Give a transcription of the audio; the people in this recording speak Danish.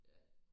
Ja